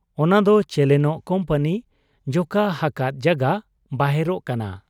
ᱚᱱᱟᱫᱚ ᱪᱮᱞᱮᱱᱚᱜ ᱠᱩᱢᱯᱟᱱᱤ ᱡᱚᱠᱷᱟ ᱦᱟᱠᱟᱫ ᱡᱟᱜᱟ ᱵᱟᱦᱮᱨᱚᱜ ᱠᱟᱱᱟ ᱾